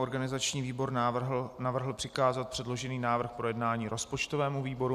Organizační výbor navrhl přikázat předložený návrh k projednání rozpočtovému výboru.